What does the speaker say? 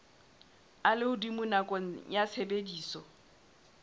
a lehodimo nakong ya tshebediso